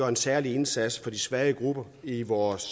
en særlig indsats for de svage grupper i vores